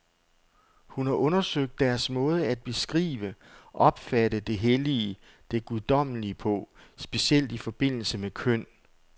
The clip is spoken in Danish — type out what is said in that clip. Hun har undersøgt deres måde at beskrive, opfatte det hellige, det guddommelige på, specielt i forbindelse med køn.